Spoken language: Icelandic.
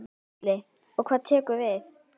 Gísli: Og hvað tekur við?